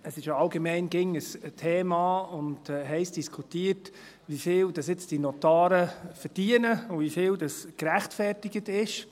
Es ist ja allgemein immer ein Thema und heiss diskutiert, wie viel diese Notare jetzt verdienen und wie viel gerechtfertigt ist.